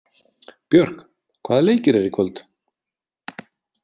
Björk, hvaða leikir eru í kvöld?